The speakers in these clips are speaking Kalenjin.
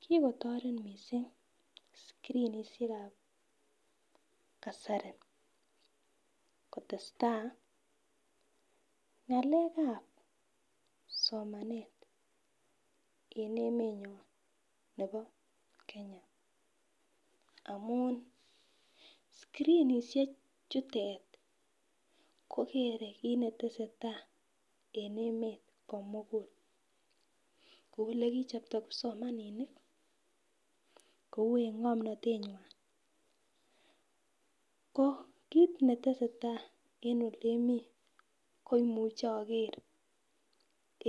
Kikotoret missing scrinishekab kasari kotesta ngalekab somenet en emenyon nebo Kenya amun scriniahek chutet kogere kit netesetai en emet komugul kou yekichopto kipsomaninik kou en ngomnotenywan ko kit netesetai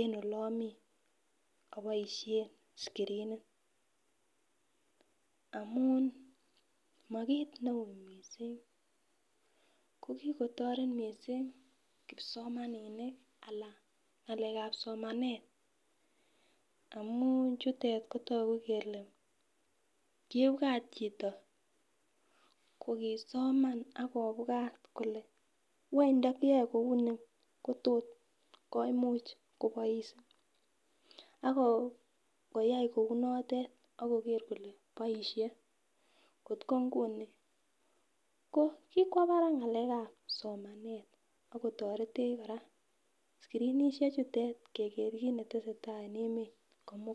en oleomii iboishen scrinit amun mikit neu missing ko kikotoret missing kipsomaninik Alan ngalekab somanet amun yutet kotoku kele kobwa chito kokisomen ak kobwat kole want ndokiyoe kouni Kotor komuch konoi Si kotko nguni kobwo barak ngaleb somanet ak kotoretech koraa scriniahek chutet kigeer kit netesetai en emet komugul.